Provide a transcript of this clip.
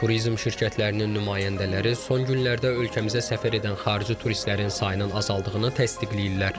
Turizm şirkətlərinin nümayəndələri son günlərdə ölkəmizə səfər edən xarici turistlərin sayının azaldığını təsdiqləyirlər.